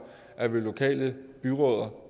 at vi har lokale byrødder